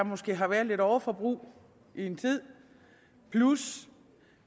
måske har været lidt overforbrug i en tid plus